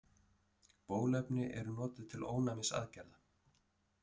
Bóluefni eru notuð til ónæmisaðgerða.